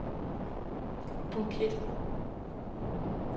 Phuket